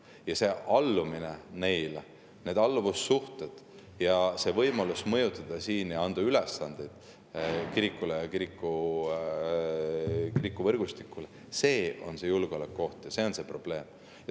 Ja see allumine neile, need alluvussuhted ja see võimalus mõjutada siin ja anda ülesandeid kirikule ja kiriku võrgustikule – see on see julgeolekuoht ja see on see probleem.